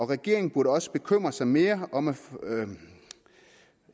regeringen burde også bekymre sig mere om at